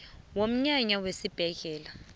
womnyaka wesibhedlela we